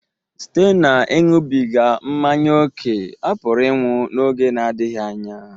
Site n'ịṅụbiga mmanya ókè, ọ pụrụ ịnwụ n'oge na-adịghị anya